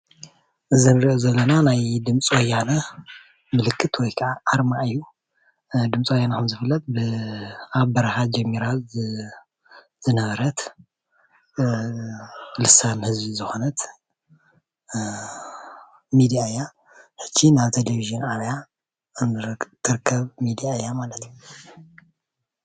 እዚ እንሪኦ ዘለና ናይ ድምፂ ወያነ ምልክት ወይ ከዓ ኣርማ እዩ፡፡ ድምፂ ወያነ ከም ዝፍለጥ ኣብ በረካ ጀሚራ ዝነበረት ልሳን ህዝቢ ዝኮነት ሚድያ እያ፡፡ ሕጂ ናብ ቴሌቭዥን ዓብያ እትርከብ ሚድያ እያ ማለት እዩ፡፡